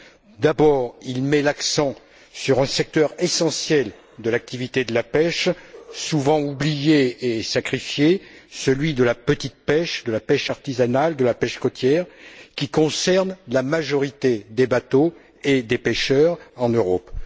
En premier lieu, il met l'accent sur un secteur essentiel de l'activité de la pêche, souvent oublié et sacrifié celui de la petite pêche, de la pêche artisanale, de la pêche côtière qui concerne la majorité des bateaux et des pêcheurs en Europe.